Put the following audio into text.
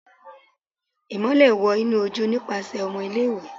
Imọlẹ wọ inu oju nipasẹ ọmọ ile-iwe